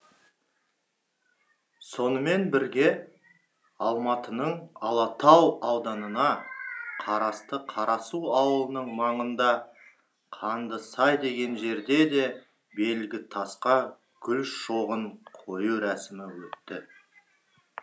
сонымен бірге алматының алатау ауданына қарасты қарасу ауылының маңында қандысай деген жерде де белгітасқа гүл шоғын қою рәсімі өтті